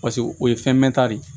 Paseke o ye fɛn mɛnta de ye